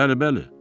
Bəli, bəli.